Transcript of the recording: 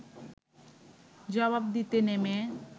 জবাব দিতে নেমে